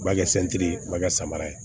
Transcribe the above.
U b'a kɛ sɛntiri ye u b'a kɛ samara ye